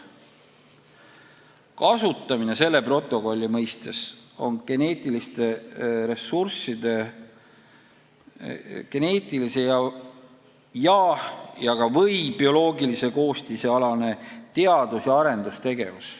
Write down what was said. Kasutamine selle protokolli mõistes on geneetiliste ressursside geneetilise ja/või bioloogilise koostise alane teadus- ja arendustegevus.